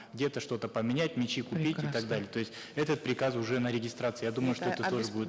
где то что то поменять мячи купить и так далее то есть этот приказ уже на регистрации я думаю что это тоже будет